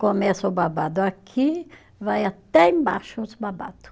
Começa o babado aqui, vai até embaixo os babado